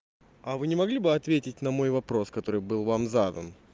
а вы не могли бы ответить на мой вопрос который был вам задан